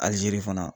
Alizeiri fana